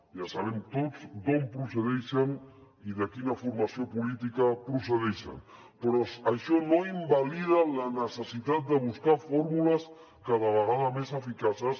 ja sabem tots d’on procedeixen i de quina formació política procedeixen però això no invalida la necessitat de buscar fórmules cada vegada més eficaces